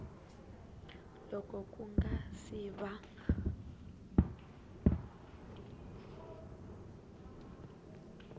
loko ku nga si va